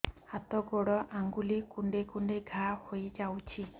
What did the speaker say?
ହାତ ଗୋଡ଼ ଆଂଗୁଳି କୁଂଡେଇ କୁଂଡେଇ ଘାଆ ହୋଇଯାଉଛି